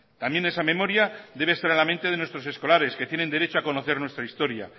también esa memoria debe estar en la mente de nuestros escolares que tienen derecho a conocer nuestra historia